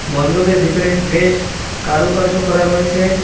মণ্ডপের ভেতরে বেশ কারুকার্য করা রয়েছে।